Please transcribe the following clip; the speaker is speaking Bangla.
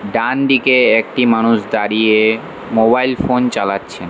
ডানদিকে একটি মানুষ দাঁড়িয়ে মোবাইল ফোন চালাচ্ছেন।